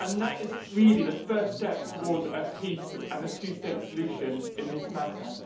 That is really the first step towards peace and a two state solution in this matter.